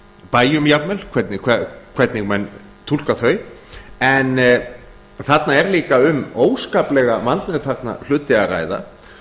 bæjum jafnvel hvernig menn túlka þau en þarna er líka um óskaplega vandmeðfarna hluti að ræða